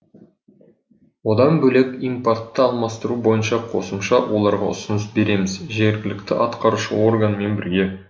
одан бөлек импортты алмастыру бойынша қосымша оларға ұсыныс береміз жергілікті атқарушы органмен бірге